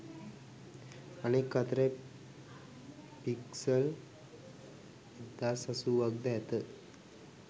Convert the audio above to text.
අනෙක් අතට පික්සල් 1080ක්ද ඇත.